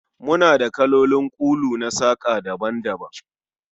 Muna da kalolin kulu na saƙa daban-daban